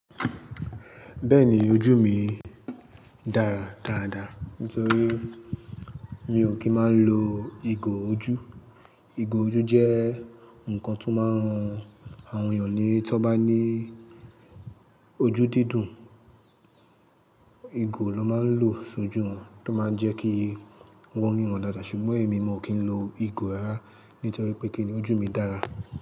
Bẹ́ẹ̀ni ojú mi dára dáradára nítorí mi ò kí ń máa ń lo ìgò ojú. Ìgò ojú jẹ́ nnkan tí ó máa ń ran àwọn ènìyàn tí wọ́n bá ní ojú dídùn, ìgò lọ́ máa ń lò sójú wọn tó máa ń jẹ́ kí wọ́n ríran dáadáa. Ṣùgbọ́n èmi mo kí ń lo ìgò rara nítorí pé kí ni, ojú mi dára.